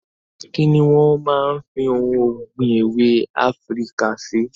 Kini wọn máa ń fi ohun ọ̀gbìn èwe Afíríkà ṣe?